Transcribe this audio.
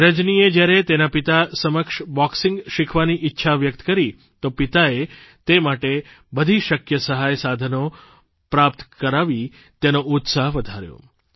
રજનીએ જ્યારે તેના પિતા સમક્ષ બોક્સિંગ શીખવાની ઇચ્છા વ્યક્ત કરી તો પિતાએ તે માટે બધી શક્ય સહાયસાધનો પ્રાપ્ત કરાવી તેનો ઉત્સાહ વધાર્યો